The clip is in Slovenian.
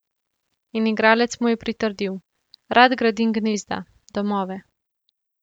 In igralec mu je pritrdil: "Rad gradim gnezda, domove.